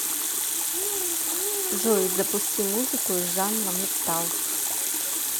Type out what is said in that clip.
джой запусти музыку из жанра металл